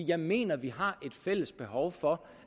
jeg mener vi har et fælles behov for